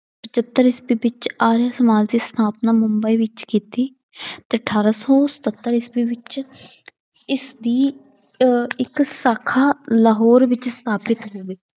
ਪਜੱਤਰ ਈਸਵੀ ਵਿੱਚ ਆਰੀਆ ਸਮਾਜ ਦੀ ਸਥਾਪਨਾ ਮੁੰਬਈ ਵਿੱਚ ਕੀਤੀ ਤੇ ਅਠਾਰਾਂ ਸੌ ਸਤੱਤਰ ਈਸਵੀ ਵਿੱਚ ਇਸਦੀ ਅਹ ਇੱਕ ਸਾਖਾ ਲਾਹੌਰ ਵਿੱਚ ਸਥਾਪਿਤ